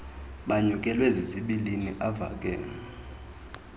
anyukelwe zizibilini bavakale